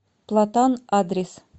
платан адрес